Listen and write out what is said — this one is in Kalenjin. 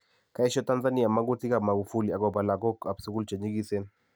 kaesho Tanzania magutik ap Magufuli agopa lagok ap sugul chenyigiseen